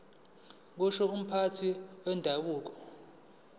kusho umphathi wendabuko